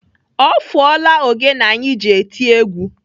Ọ fụọla ogene anyị ji eti egwu.